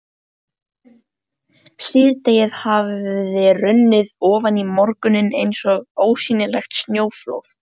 Síðdegið hafði hrunið ofan í morguninn eins og ósýnilegt snjóflóð.